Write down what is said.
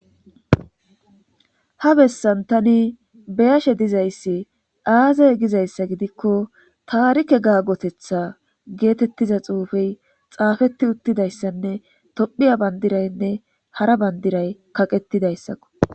Ha bessan tani beyashe dizayssi aazay gizayssa gidikko taarike gaggotetha geetettiza xuufey xaafeti uttidayssanne tophiya bandiraynne hara bandiray kaqettidayssakko.